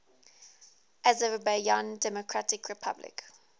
azerbaijan democratic republic